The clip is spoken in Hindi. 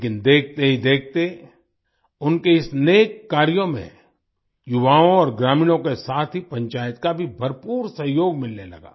लेकिन देखते ही देखते उनके इस नेक कार्यों में युवाओं और ग्रामीणों के साथ ही पंचायत का भी भरपूर सहयोग मिलने लगा